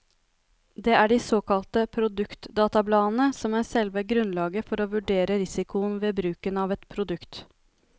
Det er de såkalte produktdatabladene som er selve grunnlaget for å vurdere risikoen ved bruken av et produkt.